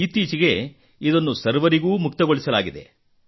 ಇತ್ತೀಚೆಗೆ ಇದನ್ನು ಸರ್ವರಿಗೂ ಮುಕ್ತಗೊಳಿಸಲಾಗಿದೆ